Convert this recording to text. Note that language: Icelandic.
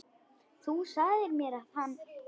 Þú sagðir mér að hann.